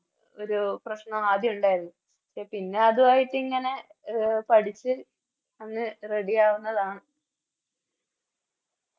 ഒരു പ്രശ്നം ആദ്യം ഇണ്ടായിരുന്നു പിന്നെ അതുവായിട്ടിങ്ങനെ അഹ് പഠിച്ച് അങ് Ready ആവുന്നതാണ്